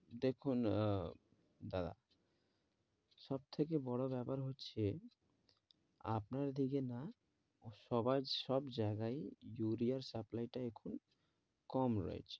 দেখুন আহ দাদা সব থেকে বড়ো ব্যাপার হচ্ছে আপনার দিকে না ও সবার সব জায়গাই ইউরিয়ার supply টা এখন কম রয়েছে